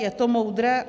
Je to moudré?